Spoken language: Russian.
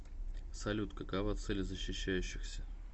салют какова цель защищающихся